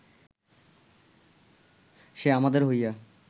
সে আমাদের হইয়া